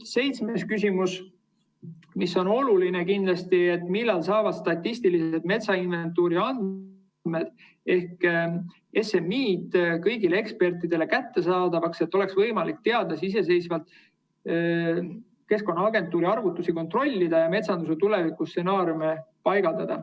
Seitsmes küsimus, mis on kindlasti oluline, on see: "Millal saavad statistilise metsainventuuri andmed kõigile ekspertidele kättesaadavaks, et oleks võimalik teadlastel iseseisvalt verifitseerida Keskkonnaagentuuri arvutusi ning metsanduse tulevikustsenaariume?